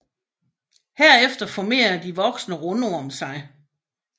Herefter formerer de voksne rundorm sig